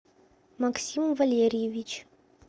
максим валерьевич